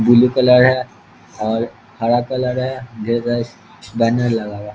Blue colour है और हरा कलर है बैनर लगा हुआ है।